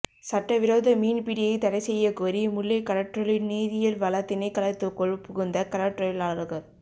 சட்டவிரோத மீன்பிடியை தடைசெய்யக்கோரி முல்லை கடற்றொழில் நீரியல்வள திணைக்களத்துக்குள் புகுந்த கடற்றொழிலாளர்கள்